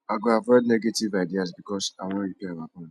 i go avoid negative ideas because i wan repair our bond